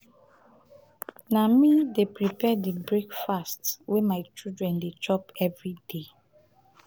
na me dey prepare di breakfast wey my children dey chop everyday.